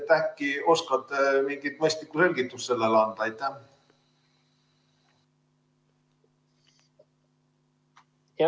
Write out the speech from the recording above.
Äkki oskate mingi mõistliku selgituse sellele anda?